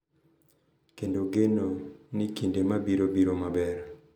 Kendo geno ni kinde mabiro biro maber.